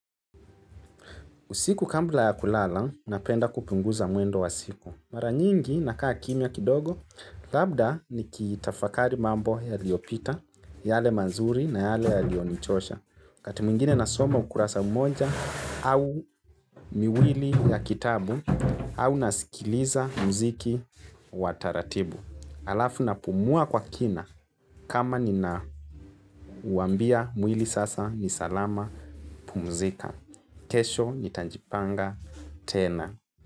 Usiku kabla ya kulala, napenda kupunguza mwendo wa siku. Mara nyingi, nakaa kimya kidogo, labda nikitafakari mambo yaliyopita, yale mazuri na yale yaliyonichosha. Wakati mwingine nasoma ukurasa mmoja au miwili ya kitabu, au nasikiliza muziki wa taratibu. Halafu napumua kwa kina, kama ninauambia mwili sasa ni salama pumzika. Kesho nitajipanga tena.